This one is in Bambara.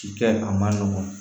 Ci kɛ a ma nɔgɔn